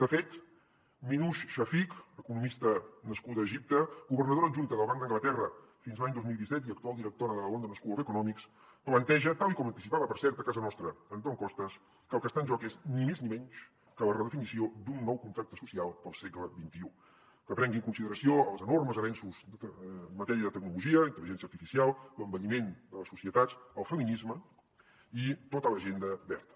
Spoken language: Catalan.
de fet minouche shafik economista nascuda a egipte governadora adjunta del banc d’anglaterra fins a l’any dos mil disset i actual directora de la london school of economics planteja tal i com anticipada per cert a casa nostra antón costas que el que està en joc és ni més ni menys que la redefinició d’un nou contracte social per al segle xxi que prengui en consideració els enormes avenços en matèria de tecnologia d’intel·ligència artificial l’envelliment de les societats el feminisme i tota l’agenda verda